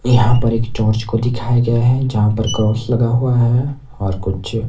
यहां पर एक चर्च को दिखाया गया है जहां पर क्रॉस लगा हुआ है और कुछ--